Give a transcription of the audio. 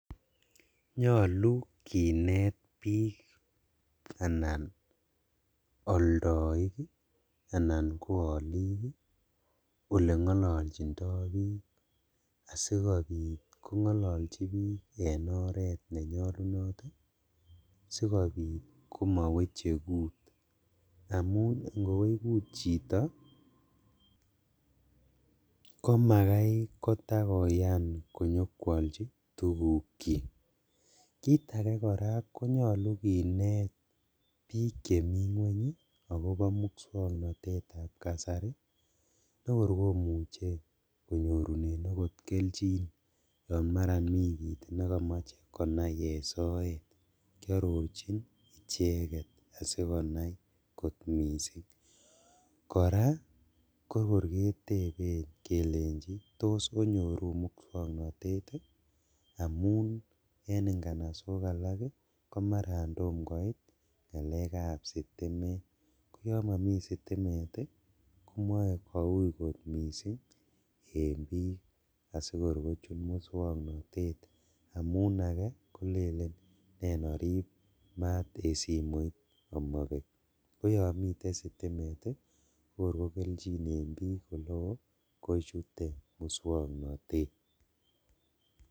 Nyolu kinet bik anan oldoik ii anan ko olik olengololjindo bik asikobit kongololji bik en oret nenyolunot sikobit komoweche kut, amun ingowech kut chito komakai kotakoyan konyokwolji tugukchik, kit ake koraa konyolu kinet bik chemi ngweny akobo muswoknotetab kasari nekor komuche konyorunen okot keljin yon maran mi kit nekomoche konai ee soet kiororjin icheket asikonai kot missing', koraa kokor keteben kelenjin tos onyoru mukswoknotet ii amun en inganasok alak komaran tom koit ngalekab sitimet koyon momi sitimet ii komoe kou kot missing ' en bik asikorkochut mukswoknotet amun ake kolelen nen orib maat en simoit omobek koyon miten sitimet ii ko keljin en bik eleo kochute mukswoknotet.